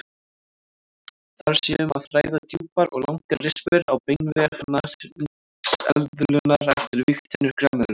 Þar sé um að ræða djúpar og langar rispur á beinvef nashyrningseðlunnar eftir vígtennur grameðlunnar.